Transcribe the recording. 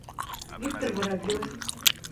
виктор воробьев